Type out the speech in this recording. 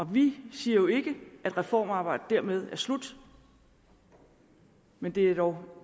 vi siger jo ikke at reformarbejdet dermed er slut men det er dog